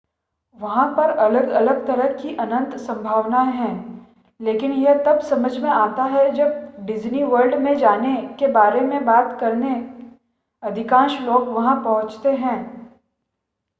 वहां पर अलग-अलग तरह की अनंत संभावनाएं हैं लेकिन ये तब समझ में आता है जब डिज़नीवर्ल्ड में जाने के बारे में बात करने अधिकांश लोग वहां पहुंचते हैं